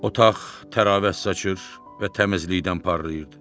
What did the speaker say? Otaq təravət saçır və təmizlikdən parlayırdı.